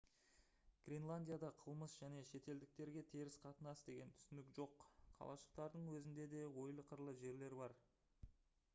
гренландияда қылмыс және шетелдіктерге теріс қатынас деген түсінік жоқ қалашықтардың өзінде де ойлы-қырлы жерлер бар